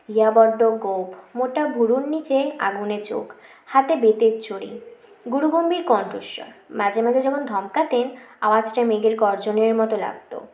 ইয়া বড্ড গো৺প মোটা ভুরুর নীচে আগুনে চোখ হাতে বেতের ছরি গুরু গম্ভীর কণ্ঠস্বর মাঝে মাঝে যখন ধমকাতেন আওয়াজটা মেঘের গর্জনের মত লাগত